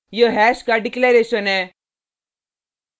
यह हैश का डिक्लेरैशन है